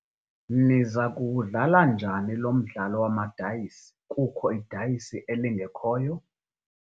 Niza kuwudlala njani lo mdlalo wamadayisi kukho idayisi elingekhoyo?